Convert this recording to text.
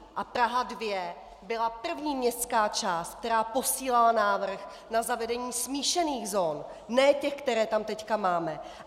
A Praha 2 byla první městská část, která posílala návrh na zavedení smíšených zón, ne těch, které tam teď máme.